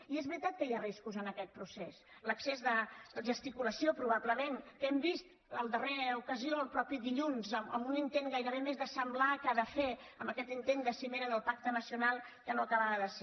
i és veritat que hi ha riscos en aquest procés l’excés de gesticulació probablement que hem vist en la darrera ocasió dilluns mateix amb un intent gairebé més de semblar que de fer amb aquest intent de cimera del pacte nacional que no acabava de ser